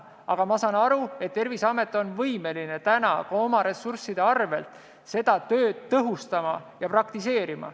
Aga ma saan aru, et Terviseamet on täna võimeline ka oma ressursside arvel seda tööd tõhustama ja praktiseerima.